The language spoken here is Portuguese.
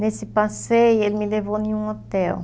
Nesse passeio ele me levou em um hotel.